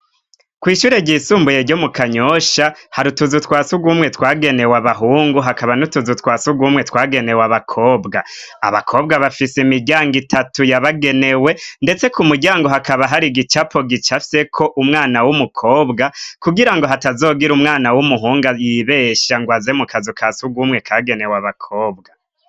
Kw'ishure ryisumbuye ryo mu Kanyosha, hari utuzu twa sugumwe twagenewe abahungu, hakaba n'utuzu twa sugumwe twagenewe abakobwa. Abakobwa bafise imiryango itatu yabagenewe, ndetse, ku muryango hakaba hari igicapo gicafyeko umwana w'umukobwa, kugira ngo hatazogira umwana w'umuhungu, yibesha ngo aze mu kazu ka sugumwe kagenewe abakobwa.